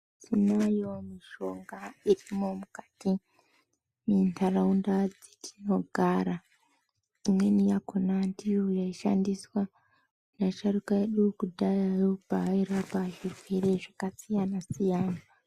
Tinayo mishonga irimwo mukati mwentaraunda dzatinogara imweni yakhona ndiyo yaishandiswa neasharuka edu kudhayayo paairapa zvirwere zvakasiyana siyana.